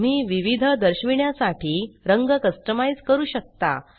तुम्ही विविध दर्शविण्यासाठी रंग कस्टमाइज़ करू शकता